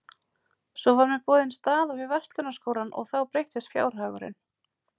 Svo var mér boðin staða við Verslunarskólann og þá breyttist fjárhagurinn.